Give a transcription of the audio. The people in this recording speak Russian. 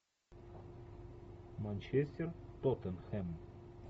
манчестер тоттенхэм